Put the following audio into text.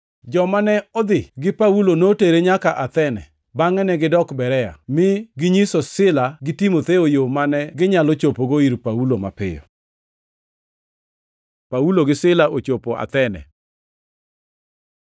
Joma ne odhi gi Paulo notere nyaka Athene, bangʼe negidok Berea mi ginyiso Sila gi Timotheo yo mane ginyalo chopogo ir Paulo mapiyo. Paulo gi Sila ochopo Athene